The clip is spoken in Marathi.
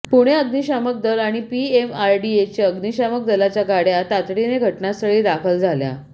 पुणे अग्निशामक दल आणि पीएमआरडीएचे अग्निशामक दलाच्या गाड्या तातडीने घटनास्थळी दाखल झाल्या